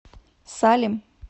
салем